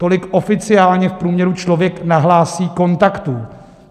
Tolik oficiálně v průměru člověk nahlásí kontaktů.